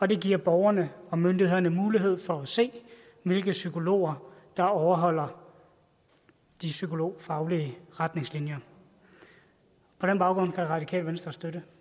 det giver borgerne og myndighederne mulighed for at se hvilke psykologer der overholder de psykologfaglige retningslinjer på den baggrund kan radikale venstre støtte